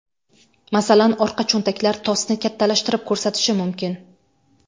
Masalan orqa cho‘ntaklar tosni kattalashtirib ko‘rsatishi mumkin.